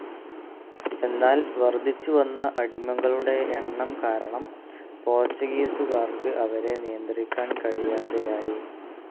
എന്നാൽ വർദ്ധിച്ചുവന്ന അടിമകളുടെ എണ്ണം കാരണം പോർച്ചുഗീസുകാർക്ക് അവരെ നിയന്ത്രിക്കാൻ കഴിയാതെയായി.